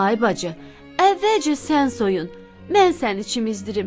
Ay bacı, əvvəlcə sən soyun, mən səni çimzdirdim.